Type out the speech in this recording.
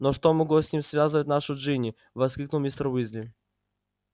но что могло с ним связывать нашу джинни воскликнул мистер уизли